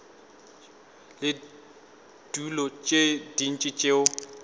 le dilo tše dintši tšeo